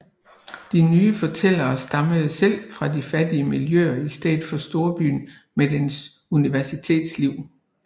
De nye fortællere stammede selv fra de fattige miljøer i stedet for storbyen med dens universitetsliv